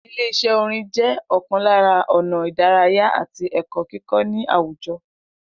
Ile Is̩é̩ orin jé̩ o̩kàn lára ò̩nà ìdárayá àti è̩kó̩ kíkó̩ ní àwùjo̩